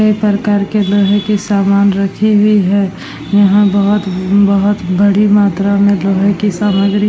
कई प्रकार के लोहे के सामान रखी हुए है यहां बहुत बहुत बड़ी मात्रा में लोहे की सामग्री--